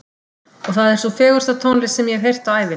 Og það er sú fegursta tónlist sem ég hef heyrt á ævinni.